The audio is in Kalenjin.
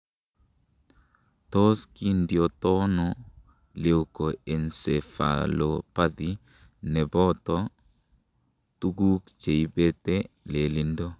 Tos kindiotono Leukoencephalopathy neboto tukuk cheibete lelindo?